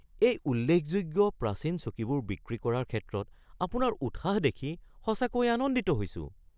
এই উল্লেখযোগ্য প্ৰাচীন চকীবোৰ বিক্ৰী কৰাৰ ক্ষেত্ৰত আপোনাৰ উৎসাহ দেখি সঁচাকৈয়ে আনন্দিত হৈছোঁ।